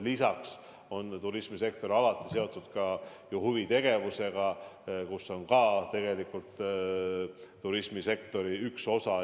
Lisaks on turismisektor alati seotud huvitegevusega, see on ka tegelikult turismisektori üks osa.